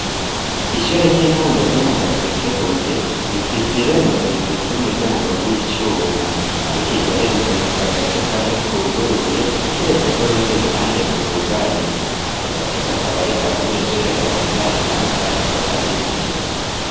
Ishure ry'intango ryo mu Gasekebuye rifise irembo rifise umuryango w'icuma. Ariko iryo rembo rifise agace kamwe kuguruye, kiretse ko urundi ruhande rwugaye. Ako gace kakaba ariko abanyeshure barenganiramwo bariko barinjira.